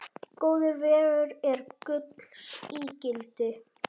Góður vegur er gulls ígildi.